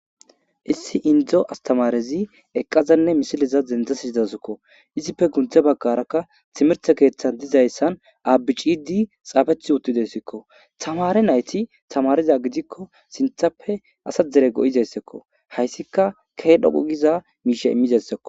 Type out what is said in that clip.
issi indzo astamarezi eqqazanne misiliza dendzasizidasikko izife gunthe baggarakka timerte keeththan dizayssan aabicidi xaafeth uttidessikko tamare nayti tamariza gidikko sinthappe asa dere go7izeyssekko hayssika kehedhoqogiza miishe immizeyssekko